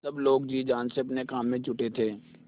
सब लोग जी जान से अपने काम में जुटे थे